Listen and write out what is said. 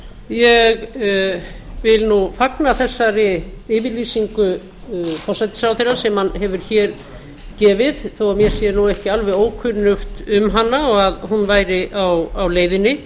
ég vil fagna þessari yfirlýsingu forsætisráðherra sem hann hefur hér gefið þó að mér sé ekki alveg ókunnugt um hana og að hún væri á leiðinni